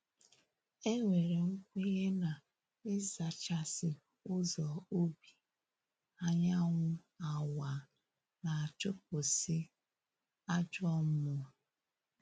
E nwere nkwenye na ịzachasị ụzọ ubi anyanwụ awaa, na-achụpụsị ajọ mmụọ